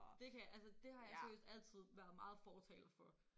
Det kan jeg altså det har jeg seriøst altid været meget fortaler for